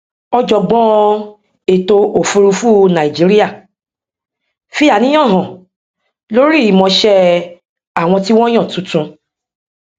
ọjọgbọn ètòòfùrúfú nàìjíríà fi àníyàn hàn lórí ìmọṣẹ àwọn tí wọn yàn tuntun